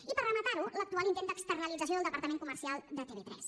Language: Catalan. i per rematar ho l’actual intent d’externalització del departament comercial de tv3